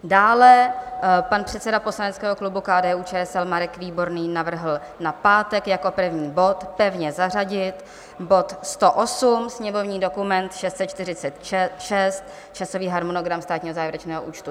Dále pan předseda poslaneckého klubu KDU-ČSL Marek Výborný navrhl na pátek jako první bod pevně zařadit bod 108, sněmovní dokument 646, Časový harmonogram Státního závěrečného účtu.